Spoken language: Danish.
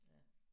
Ja